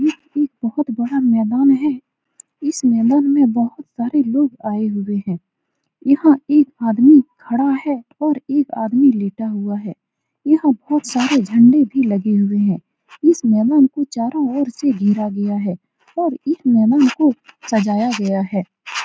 यह एक बहोत बड़ा मैदान है इस मैदान में बहोत सारे लोग आये हुए हैं यहाँ एक आदमी खड़ा है और एक आदमी लेटा हुआ है यहाँ बहोत सारे झंडे भी लगे हुए हैं इस मैदान को चारों ओर से घेरा गया है और इस मैदान को सजाया गया है ।